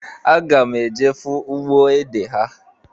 Aga m eje fụ ugbo ede ha.